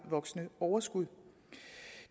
voksende overskud